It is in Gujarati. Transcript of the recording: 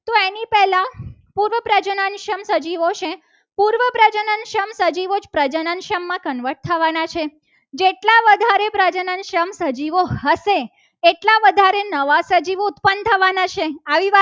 સજીવો છે. પૂર્વ પ્રાચીન પ્રજનન સંઘ સજીવો જ માં convert થવાના છે. જેટલા વધારે પ્રજનન સમ સજીવો હશે. એટલા વધારે નવા સજીવો ઉત્પન્ન થવાના છે.